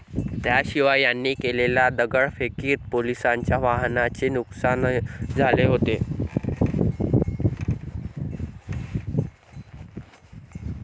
त्याशिवाय त्यांनी केलेल्या दगडफेकीत पोलिसांच्या वाहनांचे नुकसान झाले होते.